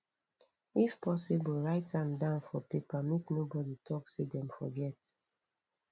if possible write an down for paper make no body talk say dem forget